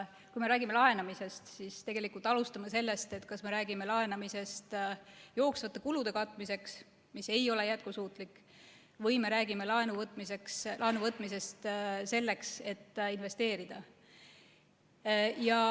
Kui me räägime laenamisest, siis alustame sellest, et kas me räägime laenamisest jooksvate kulude katmiseks, mis ei ole jätkusuutlik, või me räägime laenu võtmisest selleks, et investeerida.